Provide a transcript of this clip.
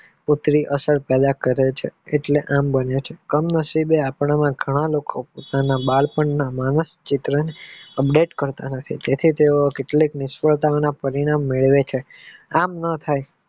તો તે અસર પેલા કરે છે એટલે આમ બને છે કમ નસીબે આપણે ઘણા લોકો બાળપણ માં નાના ચિત્ર update કરતા નથીં તેથીં તેઓ નિષ્ફળતાના પરિણામ મેળવે છે આમ ના થાય.